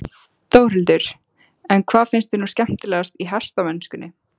Þórhildur: En hvað finnst þér nú skemmtilegast í hestamennskunni?